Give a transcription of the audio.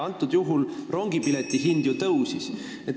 Antud juhul rongipileti hind ju tõusis.